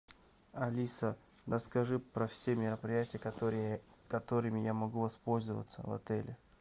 алиса расскажи про все мероприятия которыми я могу воспользоваться в отеле